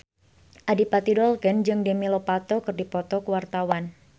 Adipati Dolken jeung Demi Lovato keur dipoto ku wartawan